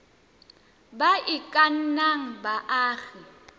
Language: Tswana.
ba e ka nnang baagi